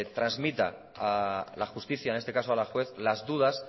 transmita a la justicia en este caso a la juez las dudas